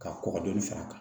Ka kɔkɔ dɔɔni fara a kan